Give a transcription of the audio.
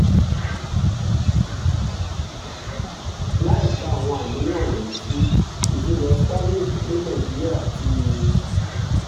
láìka àwọn àníyàn wọ̀nyí sí ìfilọ starlink ní nàìjíríà ti